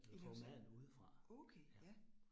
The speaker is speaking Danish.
I laver selv? Okay ja